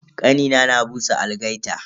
Kanina na busa algaita.